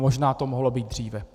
Možná to mohlo být dříve.